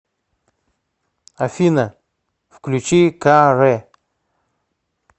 афина включи ка ре